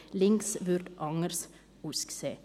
«Links» würde anders aussehen.